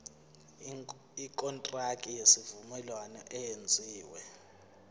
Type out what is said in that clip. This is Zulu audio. ikontraki yesivumelwano eyenziwe